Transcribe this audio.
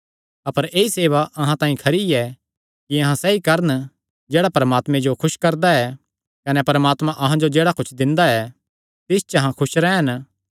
अपर ऐई सेवा अहां तांई खरी ऐ कि अहां सैई करन जेह्ड़ा परमात्मे जो खुस करदा ऐ कने परमात्मा अहां जो जेह्ड़ा कुच्छ दिंदा ऐ तिस च अहां खुस रैह़न